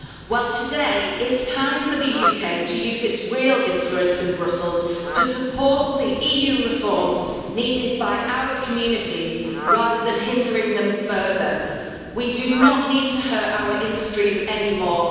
Well, today it is time for the UK to use its real influence in Brussels to support the EU reforms needed by our communities, rather than hindering them further. We do not need to hurt our industries anymore.